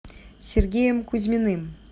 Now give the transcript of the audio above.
сергеем кузьминым